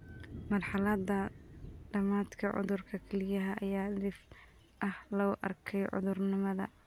Marxaladda dhamaadka cudurka kelyaha ayaa dhif ah lagu arkay caruurnimada.